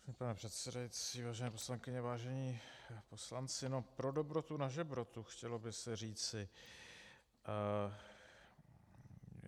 Pane předsedající, vážené poslankyně, vážení poslanci, no, pro dobrotu na žebrotu, chtělo by se říci.